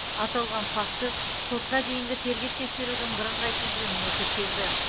аталған факті сотқа дейінгі тергеп тексерудің бірыңғай тізіліміне тіркелді